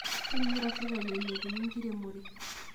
Kenyokita sirkaki alepunyie enkiremore